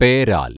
പേരാൽ